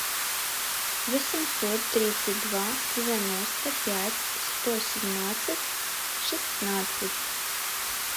восемьсот тридцать два девяносто пять сто семнадцать шестнадцать